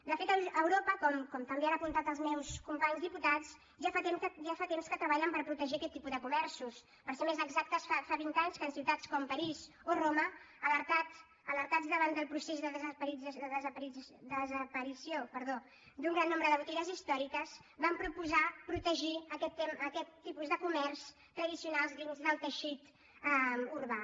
de fet a europa com també han apuntat els meus companys diputats ja fa temps que treballen per protegir aquest tipus de comerços per ser més exactes fa vint anys que en ciutats com parís o roma alertats davant del procés de desaparició d’un gran nombre de botigues històriques van proposar protegir aquest tipus de comerç tradicional dins del teixit urbà